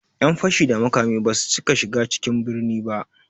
Ƴan fashi da makami basu cika shiga cikin birni ba